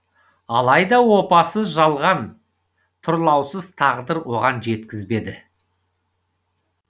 алайда опасыз жалған тұрлаусыз тағдыр оған жеткізбеді